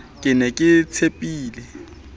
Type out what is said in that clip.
ke ne ke o tshepile